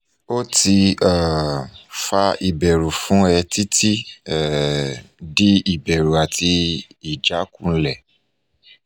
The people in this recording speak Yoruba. o ti um fa iberu fun e titi um di iberu ati ijakunle